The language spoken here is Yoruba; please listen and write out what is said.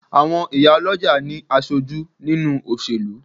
Àwọn ìyá lọ́jà ní aṣojú nínúu òṣèlú